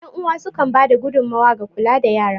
Yan uwa sukan ba da gudummawa ga kula da yara.